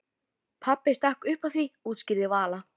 Pabbi stakk upp á því útskýrði Vala.